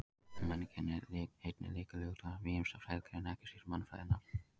Menning er einnig lykilhugtak ýmissa fræðigreina, ekki síst mannfræðinnar.